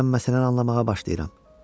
Deyəsən məsələni anlamağa başlayıram.